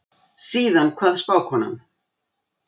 Síðan kvað spákonan